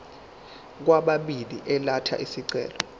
kwababili elatha isicelo